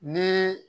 Ni